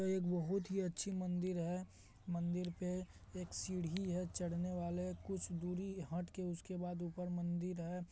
यह एक बहुत ही अच्छी मंदिर है मंदिर पे एक सीढ़ी है चढने वाले कुछ दुरी हटके उसके बाद ऊपर मंदिर है।